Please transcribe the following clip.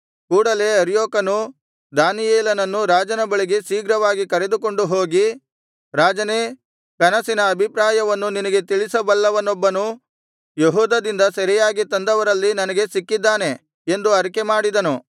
ಕೂಡಲೆ ಅರ್ಯೋಕನು ದಾನಿಯೇಲನನ್ನು ರಾಜನ ಬಳಿಗೆ ಶೀಘ್ರವಾಗಿ ಕರೆದುಕೊಂಡು ಹೋಗಿ ರಾಜನೇ ಕನಸಿನ ಅಭಿಪ್ರಾಯವನ್ನು ನಿನಗೆ ತಿಳಿಸಬಲ್ಲವನೊಬ್ಬನು ಯೆಹೂದದಿಂದ ಸೆರೆಯಾಗಿ ತಂದವರಲ್ಲಿ ನನಗೆ ಸಿಕ್ಕಿದ್ದಾನೆ ಎಂದು ಅರಿಕೆಮಾಡಿದನು